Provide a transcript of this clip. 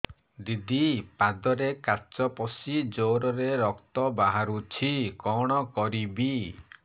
ଦିଦି ପାଦରେ କାଚ ପଶି ଜୋରରେ ରକ୍ତ ବାହାରୁଛି କଣ କରିଵି